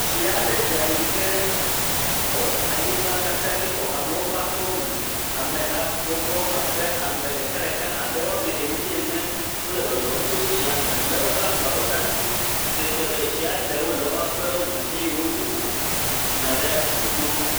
Tsi aɖe dza yi ke xɔ anyigba katã dzi xɔ amewo ƒe aƒewo me. Ameha bɔbɔ abe ame ɖekaɖeka abe wo ame enyi ene wo le zɔzɔm to tsiawo me le woƒe agbawo ɖe asi si ke fia be tsia ɖewo le woƒe aƒewo me eye wodo go yina ɖe go to.